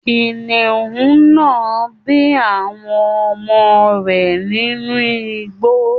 Kìnìún náà bí àwọn ọmọ rẹ nínú igbó.